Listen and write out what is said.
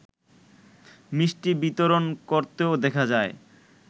মিষ্টি বিতরণ করতেও দেখা যায়